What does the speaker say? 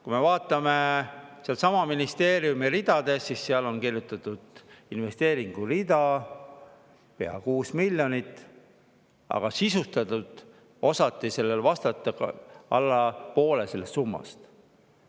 Kui me vaatame sedasama ministeeriumi rida, siis seal on kirjutatud investeeringureale pea 6 miljonit, aga küsimusele, millega see on sisustatud, osati vastata alla poole selle summa puhul.